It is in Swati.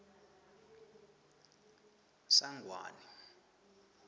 sangwane